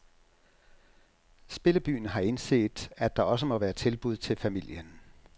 Spillebyen har indset at der også må være tilbud til familien.